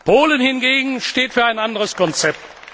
Polen hingegen steht für ein anderes Konzept.